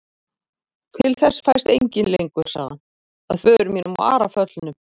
Til þess fæst enginn lengur, sagði hann,-að föður mínum og Ara föllnum.